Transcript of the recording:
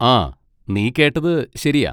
ആ, നീ കേട്ടത് ശരിയാ.